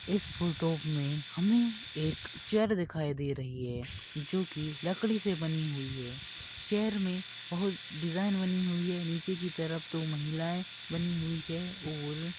इस फोटो में मुझे एक चेयर दिखाई दे रही है जो की लकड़ी से बनी हुई है चेयर में बहुत डिज़ाइन बनी हुई है नीचे की तरफ दो महिलाएं बनी हुई हैं और--